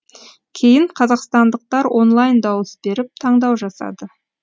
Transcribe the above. кейін қазақстандықтар онлайн дауыс беріп таңдау жасады